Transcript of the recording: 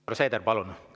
Härra Seeder, palun!